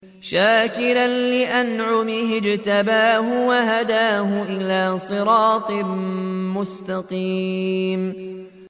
شَاكِرًا لِّأَنْعُمِهِ ۚ اجْتَبَاهُ وَهَدَاهُ إِلَىٰ صِرَاطٍ مُّسْتَقِيمٍ